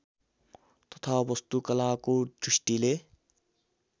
तथा वास्तुकलाको दृष्टिले